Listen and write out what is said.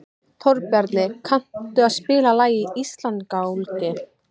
Þórbjarni, kanntu að spila lagið „Íslandsgálgi“?